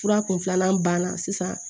Fura kun filanan banna sisan